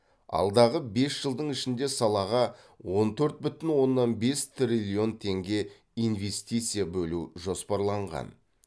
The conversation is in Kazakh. алдағы бес жылдың ішінде салаға он төрт бүтін оннан бес триллион теңге инвестиция бөлу жоспарланған